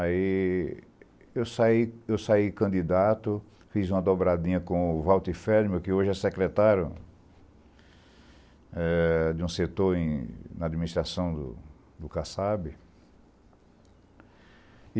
Aí, eu saí candidato, fiz uma dobradinha com o Walter Ferdinand, que hoje é secretário de um setor na administração do CACAB.